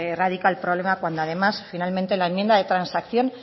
radica el problema cuando además finalmente en la enmienda de transacción